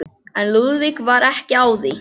En Lúðvík var ekki á því.